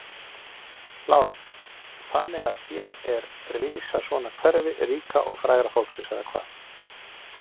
Lára: Þannig að hér er rísa svona hverfi ríka og fræga fólksins eða hvað?